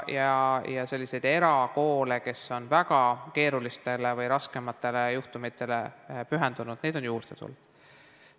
Ja selliseid erakoole, mis on väga keerulistele või raskematele juhtumitele pühendunud, on juurde tulnud.